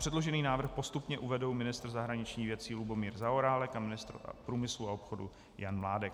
Předložený návrh postupně uvedou ministr zahraničních věcí Lubomír Zaorálek a ministr průmyslu a obchodu Jan Mládek.